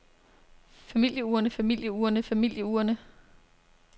familieurne familieurne familieurne